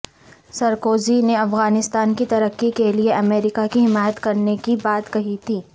Sarkozy نے افغانستان کی ترقی کے لیے امریکہ کی حمایت کرنے کی بات کہی تھی